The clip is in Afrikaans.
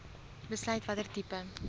besluit watter tipe